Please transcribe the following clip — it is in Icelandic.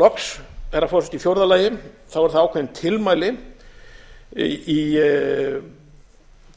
loks herra forseti í fjórða lagi eru það ákveðin tilmæli í